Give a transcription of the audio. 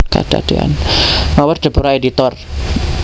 Mawer Deborah Editor